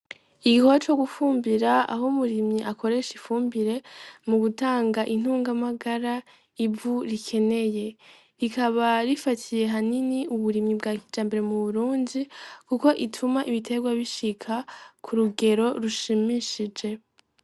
Igikoba co gufumbira aho umurimyi akoresha ifumbire mu gutanga intungamagara ivu rikeneye rikaba rifatiye hanini uburimyi bwa kija mbere mu burunzi, kuko ituma ibiterwa bishika ku rugero rushimishije.